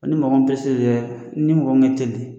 Ni mɔnɔ min ni mɔgɔ